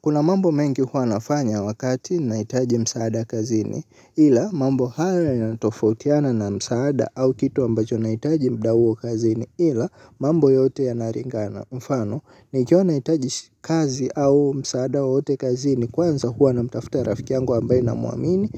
Kuna mambo mengi hua nafanya wakati nahitaji msaada kazini ila mambo haya yanatofautiana na msaada au kitu ambacho nahitaji mda huo kazini ila mambo yote ya nalingana mfano nikiwa nahitaji kazi au msaada wawote kazini kwanza hua na mtafuta ya rafiki yangu ambaye namwamini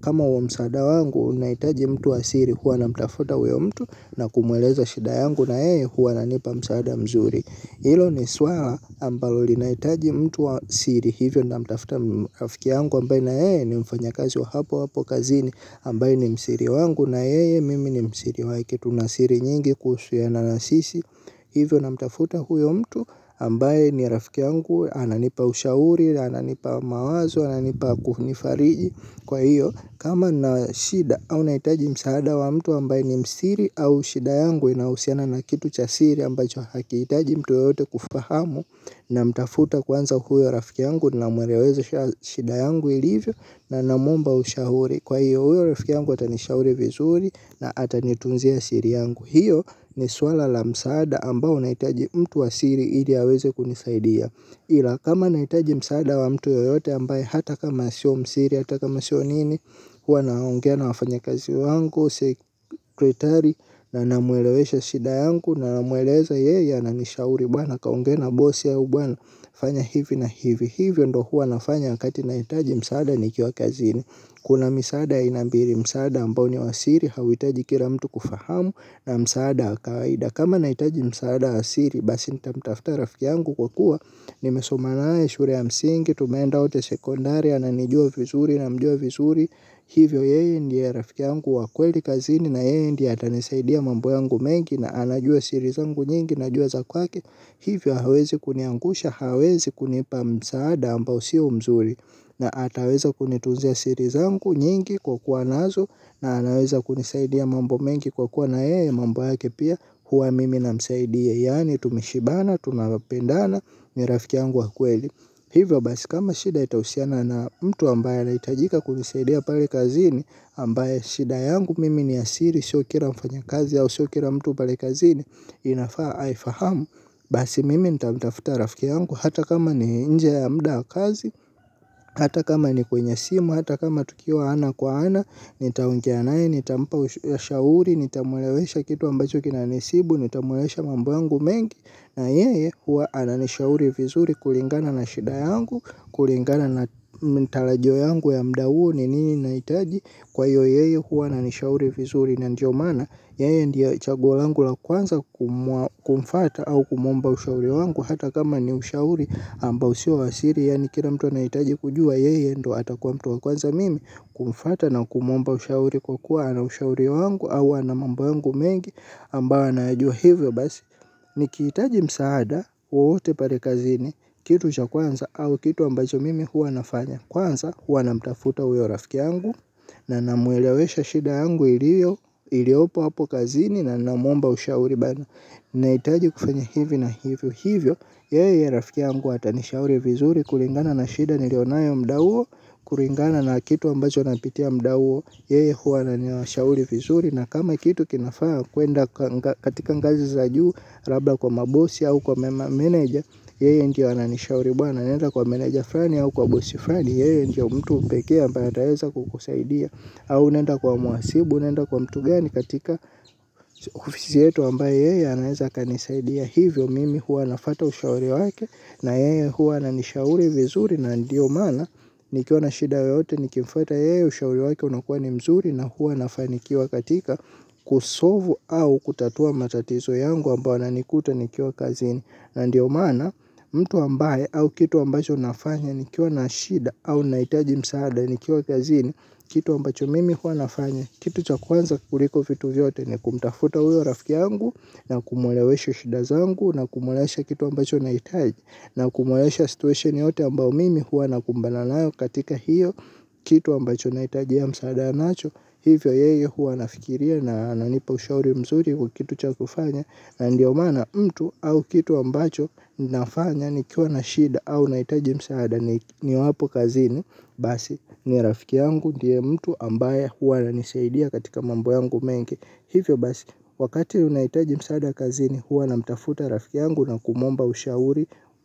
kama huo msaada wangu unahitaji mtu wa siri hua na mtafuta weo mtu na kumweleza shida yangu na yeye huwa ananipa msaada mzuri. Hilo ni swala ambalo linahitaji mtu wa siri hivyo namtafuta rafiki yangu ambaye na yeye ni mfanya kazi wa hapo hapo kazini ambaye ni msiri wangu na yeye mimi ni msiri wake tuna siri nyingi kuhusiana na sisi hivyo na mtafuta huyo mtu ambaye ni rafiki yangu ananipa ushauri na ananipa mawazo ananipa kunifariji kwa hiyo kama nina shida au nahitaji msaada wa mtu ambaye ni msiri au shida yangu inahusiana na kitu cha siri ambacho hakihitaji mtu yeyote kufahamu. Na mtafuta kwanza huyo rafiki yangu. Na mweleza shida yangu ilivyo. Na namwomba ushauri. Kwa hiyo huyo rafiki yangu atani shauri vizuri. Na atanitunzia siri yangu. Hiyo ni swala la msaada ambao nahitaji mtu wa siri ili aweze kunisaidia ila kama nahitaji msaada wa mtu yeyote ambae hata kama sio msiri hata kama sio nini. Huwa naongea na wafanya kazi wangu sekretari na namwelewesha shida yangu. Na namweleza yeye ananishauri bwana kaongee na bosi au bwana fanya hivi na hivi. Hivyo ndo huwa nafanya wakati nahitaji msaada nikiwa kazini. Kuna misaada aina mbili msaada ambao ni wasiri hauhitaji kila mtu kufahamu na msaada kawaida. Kama nahitaji msaada wa siri basi nitamtafta rafiki yangu kwa kuwa nimesoma naye shule ya msingi tumeenda wote sekondari ananijua vizuri na mjua vizuri. Hivyo yeye ndie rafiki yangu wa kweli kazini na yeye ndie atanisaidia mambo yangu mengi na anajua siri zangu nyingi najua zakwake hivyo hawezi kuniangusha hawezi kunipa msaada amba usio mzuri na ataweza kunitunzia siri zangu nyingi kwa kuwa nazo na anaweza kunisaidia mambo mengi kwa kuwa na yeye mambo yake pia huwa mimi namsaidia yaani tumeshibana tunapendana ni rafiki yangu wakweli hivyo basi kama shida itahusiana na mtu ambaye anahitajika kunisaidia pale kazini ambaye shida yangu mimi ni ya siri sio kila mfanyakazi au sio kila mtu pale kazini, inafaa aifahamu, basi mimi nita mtafuta rafiki yangu, hata kama ni nje ya mda wa kazi, hata kama ni kwenye simu, hata kama tukiwa ana kwa ana, nitaongea naye nitampa ushauri, nitamwelewesha kitu ambacho kina nisibu, nita mwelewesha mambo yangu mengi, na yeye huwa ananishauri vizuri kulingana na shida yangu, kulingana na tarajio yangu ya muda huo. Ni nini nahitaji kwa hiyo yeye huwa ananishauri vizuri na ndio maana. Yeye ndiye chaguo langu la kwanza kumfata au kumwomba ushauri wangu. Hata kama ni ushauri ambao usio wasiri. Yani kila mtu anahitaji kujua yeye ndo atakuwa mtu wa kwanza mimi. Kumfata na kumwomba ushauri kwa kuwa ana ushauri wangu. Au ana mambo yangu mengi ambayo anayajua hivyo basi. Ni khiitaji msaada wowote pale kazini kitu cha kwanza au kitu ambacho mimi huwa nafanya. Kwanza huwa na mtafuta huyo rafiki yangu. Na namwelewesha shida angu iliopo hapo kazini. Na namwomba ushauri bada. Naitaji kufanya hivi na hivyo. Hivyo, yeye rafiki yangu atanishauri vizuri. Kulingana na shida niliyo nayo muda huo. Kulingana na kitu ambacho napitia muda huo. Yeye huwa ananishauri vizuri. Na kama kitu kinafaa kwenda katika ngazi za juu labda kwa mabosi au kwa manager. Yeye ndio ananishauri bwana nenda kwa meneja fulani au kwa bosi fulani, yeye ndio mtu pekee ambaye ataweza kukusaidia. Au unenda kwa muasibu, au nenda kwa mtu gani katika ofisi yetu ambaye yeye anaweza akanisaidia. Hivyo mimi huwa nafata ushauri wake na yeye huwa ananishauri vizuri na ndio maana. Nikiwa na shida yoyote nikimfata yeye ushauri wake unakuwa ni mzuri na huwa anafanikiwa katika kusovu au kutatua matatizo yangu ambao yananikuta nikio kazini. Ndio mana mtu ambaye au kitu ambacho nafanya nikiwa na shida au naitaji msaada nikiwa kazini. Kitu ambacho mimi hua nafanya. Kitu chakuanza kuliko vitu vyote ni kumtafuta uyo rafiki yangu na kumwelewesha shida zangu na kumweleza kitu ambacho nahitaji. Na kumuleweza situation yoyote ambao mimi hua nakumbana layo katika hiyo kitu ambacho nahitaji ya msaada nacho. Hivyo yeye huwa anafikiria na ananipa ushauri mzuri kitu chakufanya. Ndio maana mtu au kitu ambacho nafanya nikiwa na shida au nahitaji msaada niwapo kazini. Basi ni rafiki yangu ndiye mtu ambaye huwa ananisaidia katika mambo yangu mengi. Hivyo basi wakati unaohitaji msaada kazini huwa namtafuta rafiki yangu na kumwomba ushauri.